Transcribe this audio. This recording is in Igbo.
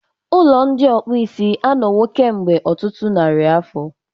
Ụlọ ndị okpuisi anọwo kemgbe ọtụtụ narị afọ.